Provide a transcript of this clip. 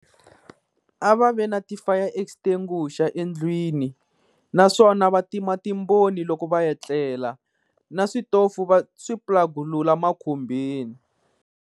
A va vi na ti-fire extinguisher endlwini, naswona va tima timbhoni loko va ya tlela na switofu va swiplugunula makhumbini.